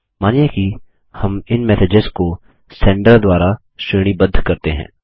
मानिए कि हम इन मैसेजेस को सेंडर द्वारा श्रेणीबद्ध करते हैं